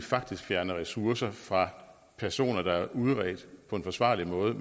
faktisk fjerner ressourcer fra personer der er udredt på en forsvarlig måde